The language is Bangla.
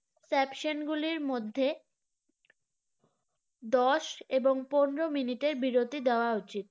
secession গুলির মধ্যে দশ এবং পনেরো minute এর বিরতি দেওয়া উচিত